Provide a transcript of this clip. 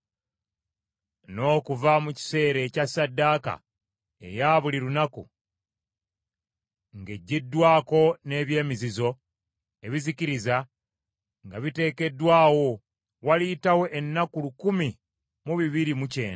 “N’okuva mu kiseera ekya ssaddaaka eya buli lunaku ng’eggyiddwawo n’eby’emizizo ebizikiriza nga biteekeddwawo, waliyitawo ennaku lukumi mu bibiri mu kyenda.